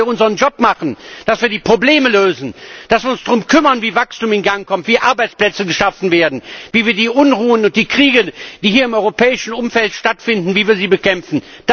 Sie wollen, dass wir unseren Job machen, dass wir die Probleme lösen, dass wir uns darum kümmern, wie Wachstum in Gang kommt, wie Arbeitsplätze geschaffen werden, wie wir die Unruhen und die Kriege, die hier im europäischen Umfeld stattfinden, bekämpfen!